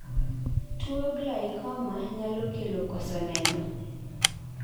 tuo glaucoma nyalo kelo koso neno